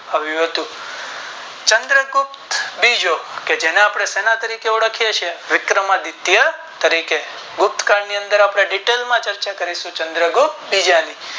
આવ્યું હતું ચંદ્રગૃપ્ત બીજો કે જેને આપણે શેના તરીકે ઓળખીયે છીએ વિક્રમાદિત્ય તરીકે ગુપ્ત કાળ ની અંદર આપણે Detail માં ચર્ચા કરીશું ચંદ્ર ગુપ્ત બીજા ની